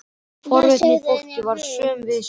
Forvitnin í fólki var söm við sig.